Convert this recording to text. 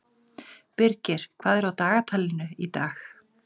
Birgir, hvað er á dagatalinu í dag?